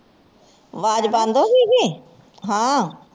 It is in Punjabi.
ਵਾਜ਼ ਬੰਦ ਹੋ ਗਈ ਸੀ ਹਾਂ